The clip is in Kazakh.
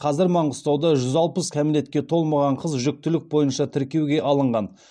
қазір маңғыстауда жүз алпыс кәмелетке толмаған қыз жүктілік бойынша тіркеуге алынған